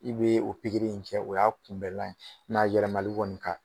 I bɛ o pikiri in kɛ o y'a kunbɛlan ye mɛ a yɛlɛmali kɔni ka